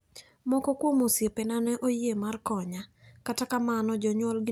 Moko kuom osiepena ne oyie mar konya, kata kamano jonyuolgi ne otamore.